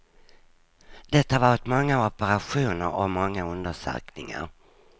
Det har varit många operationer och många undersökningar.